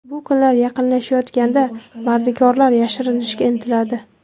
Bu kunlar yaqinlashayotganda mardikorlar yashirinishga intiladi.